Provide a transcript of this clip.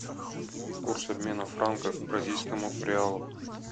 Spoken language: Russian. курс обмена франков к бразильскому реалу